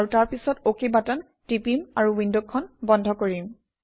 আৰু তাৰপিছত OK button টিপিম আৰু উইণ্ডখন বন্ধ কৰিম